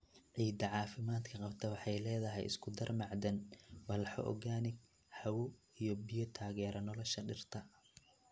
Ciidda caafimaadka qabta waxay leedahay isku-dar macdan, walxo organic, hawo, iyo biyo taageera nolosha dhirta.